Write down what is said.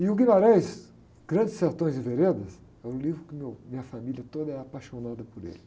E o Guimarães, Grandes Sertões e Veredas, é um livro que meu, minha família toda é apaixonada por ele.